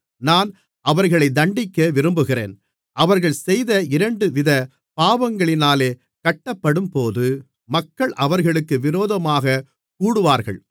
நான் அவர்களை தண்டிக்க விரும்புகிறேன் அவர்கள் செய்த இரண்டுவித பாவங்களினாலே கட்டப்படும்போது மக்கள் அவர்களுக்கு விரோதமாகக் கூடுவார்கள்